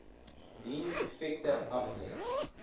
dien effekte aflê